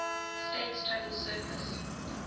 state's total surface